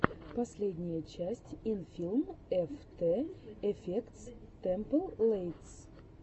последняя часть инфилм эфтэ эфектс тэмплэйтс